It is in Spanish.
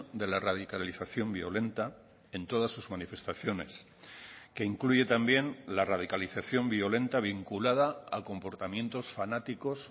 de la radicalización violenta en todas sus manifestaciones que incluye también la radicalización violenta vinculada a comportamientos fanáticos